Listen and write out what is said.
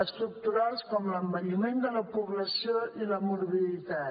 estructurals com l’envelliment de la població i la morbiditat